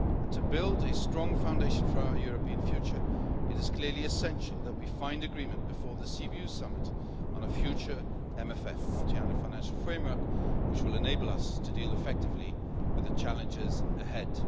To build a strong foundation for our European future it is clearly essential that we find agreement before the Sibiu Summit on a future MFF multiannual financial framework which will enable us to deal effectively with the challenges ahead.